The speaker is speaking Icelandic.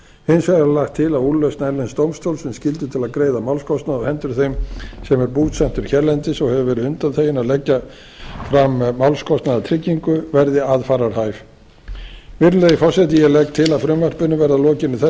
hins vegar er lagt til að úrlausn erlends dómstóls um skyldu til að greiða málskostnað á hendur þeim sem er búsettur hérlendis og hefur verið undanþeginn að leggja fram málskostnaðartryggingu verði aðfararhæf virðulegi forseti ég legg til að frumvarpinu verði að lokinni þessari